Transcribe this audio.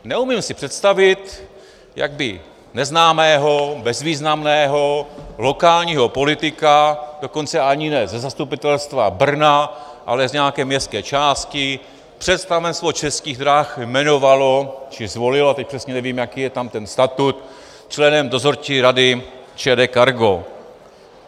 Neumím se představit, jak by neznámého bezvýznamného lokálního politika, dokonce ani ne ze zastupitelstva Brna, ale z nějaké městské části, představenstvo Českých drah jmenovalo, či zvolilo - teď přesně nevím, jaký je tam ten statut - členem dozorčí rady ČD Cargo.